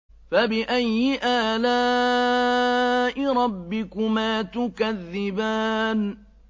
فَبِأَيِّ آلَاءِ رَبِّكُمَا تُكَذِّبَانِ